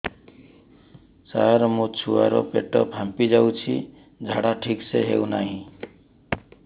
ସାର ମୋ ଛୁଆ ର ପେଟ ଫାମ୍ପି ଯାଉଛି ଝାଡା ଠିକ ସେ ହେଉନାହିଁ